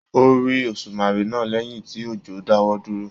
O rí òsùmàrè náà lẹyìn tí òjò dáwọ dúró.